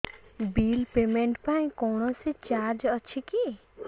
bill payment ପାଇଁ କୌଣସି charge ଅଛି କି